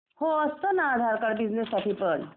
हो असतो ना आधार कार्ड बिसनेस साठी पण